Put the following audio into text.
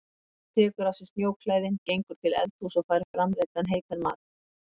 Og hann tekur af sér snjóklæðin, gengur til eldhúss og fær framreiddan heitan mat.